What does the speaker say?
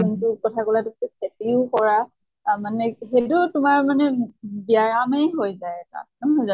যোন টো কথা কলা খেতিও কৰা আহ মানে যেইটো তোমাৰ মানে ব্য়ায়ামে হৈ যায় এটা